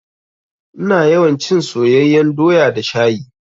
Ina yawan cin soyeyyan doya da shayi.